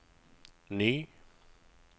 ny